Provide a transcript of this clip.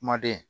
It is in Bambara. Kumaden